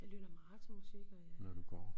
Jeg lytter meget til musik og jeg